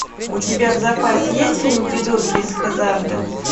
у тебя в запасе есть фильм придурки из хаззарда